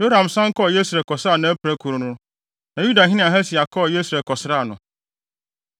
Yoram san kɔɔ Yesreel kɔsaa nʼapirakuru no, na Yudahene Ahasia kɔɔ Yesreel kɔsraa no.